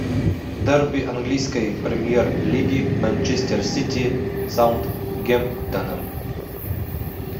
дерби английской премьер лиги манчестер сити с саутгемптоном